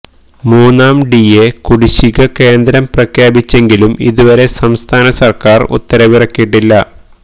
മൂന്നാം ഡിഎ കുടിശിക കേന്ദ്രം പ്രഖ്യാപിച്ചെങ്കിലും ഇതുവരെ സംസ്ഥാന സര്ക്കാര് ഉത്തരവിറക്കിയിട്ടില്ല